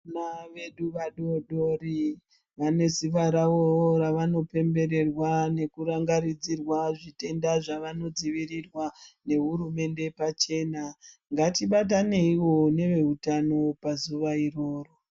Vana vedu vadodori vane Simba rawo ravanopembererwa nekudetserwa zvitenda zvavanodzivirirwa nehurumende iri pachena ngatidetserane nevehutano pazuva iroro.